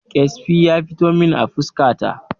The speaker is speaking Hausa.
Ƙyasbi ya fito min a fuska ta